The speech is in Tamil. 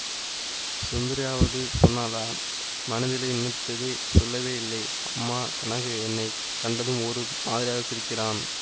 சுந்தரியாவது சொன்னாளா மனதிலே நினைத்ததை சொல்லவேயில்லை அம்மா கனகு என்னை கண்டதும் ஒரு மாதிரியாகச் சிரிக்கிறான்